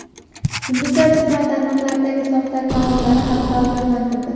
Yulduzlar ijtimoiy tarmoqlardagi soxta akkauntlari haqida ogohlantirdi.